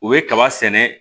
U bɛ kaba sɛnɛ